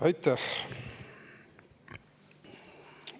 Aitäh!